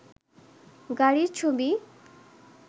গাড়ির ছবি